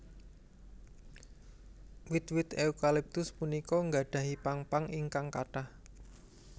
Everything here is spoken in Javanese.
Wit wit eukaliptus punika nggadhahi pang pang ingkang kathah